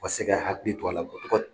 U ka se ka hakili to a la